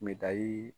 Me dayiri